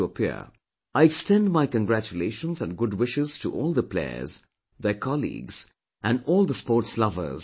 I extend my congratulations and good wishes to all the players, their colleagues, and all the sports lovers once again